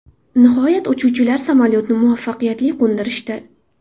Nihoyat uchuvchilar samolyotni muvaffaqiyatli qo‘ndirishdi.